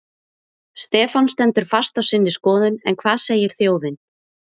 Stefán stendur fast á sinni skoðun en hvað segir þjóðin?